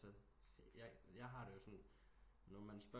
Jeg har det jo sådan når man spørg